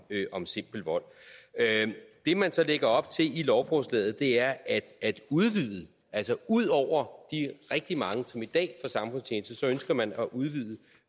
om simpel vold det man så lægger op til i lovforslaget er at at udvide altså ud over de rigtig mange som i dag får samfundstjeneste ønsker man at udvide